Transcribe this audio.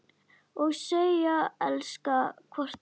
Og segjast elska hvort annað.